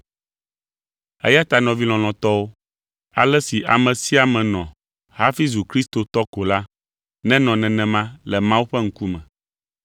Eya ta nɔvi lɔlɔ̃tɔwo, ale si ame sia ame nɔ hafi zu kristotɔ ko la, nenɔ nenema le Mawu ƒe ŋkume.